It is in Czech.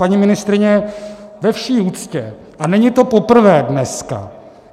Paní ministryně, ve vší úctě - a není to poprvé dneska.